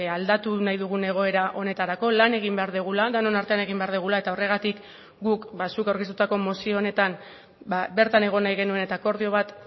aldatu nahi dugun egoera honetarako lan egin behar dugula denon artean egin behar dugula eta horregatik guk zuk aurkeztutako mozio honetan bertan egon nahi genuen eta akordio bat